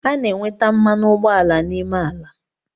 A na enweta mmanụ ụgbọala n’ime ala